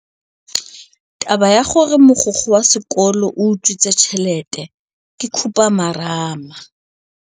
Taba ya gore mogokgo wa sekolo o utswitse tšhelete ke khupamarama.